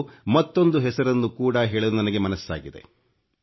ಇಂದು ಮತ್ತೊಂದು ಹೆಸರನ್ನು ಕೂಡ ಹೇಳಲು ನನಗೆ ಮನಸ್ಸಾಗಿದೆ